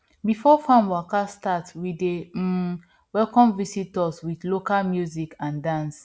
before farm waka start we dey um welcome visitors with local music and dance